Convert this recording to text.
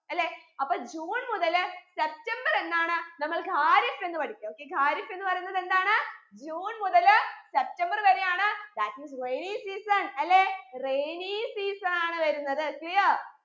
അല്ലെ അപ്പൊ ജൂൺ മുതൽ സെപ്റ്റംബർ എന്നാണ് നമ്മൾ ഖാരിഫ് എന്ന് പഠിക്ക okay ഖാരിഫ് എന്ന് പറയുന്നത് എന്താണ് ജൂൺ മുതൽ സെപ്തംബർ വരെയാണ് that is rainy season അല്ലെ rainy season ആണ് വരുന്നത് clear